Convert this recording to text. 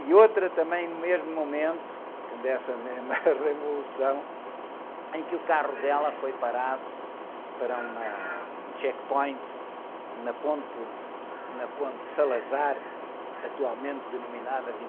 E outra também no mesmo momento, dessa mesma revolução, em que o carro dela foi parado para um checkpoint na ponte Salazar, atualmente denominada